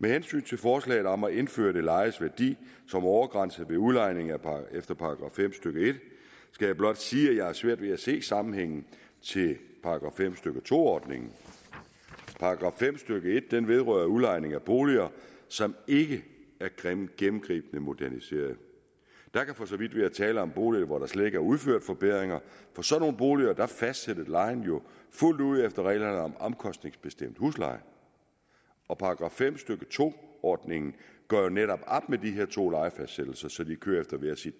med hensyn til forslaget om at indføre det lejedes værdi som overgrænse ved udlejning efter § fem stykke en skal jeg blot sige at jeg har svært ved at se sammenhængen til § fem stykke to ordningen § fem stykke en vedrører udlejning af boliger som ikke er gennemgribende moderniserede der kan for så vidt være tale om boliger hvor der slet ikke er udført forbedringer for sådanne boliger fastsættes lejen jo fuldt ud efter reglerne om omkostningsbestemt husleje og § fem stykke to ordningen gør jo netop op med de her to lejefastsættelse de kører